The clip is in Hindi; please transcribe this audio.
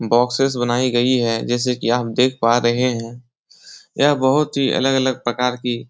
बॉक्सेज बनाई गई है जैसे कि आप देख पा रहे है यह बहुत ही अलग-अलग प्रकार की --